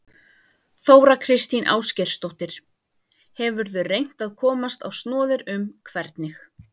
Þóra Kristín Ásgeirsdóttir: Hefurðu reynt að komast á snoðir um hvernig?